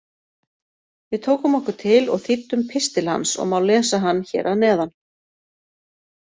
Við tókum okkur til og þýddum pistil hans og má lesa hann hér að neðan: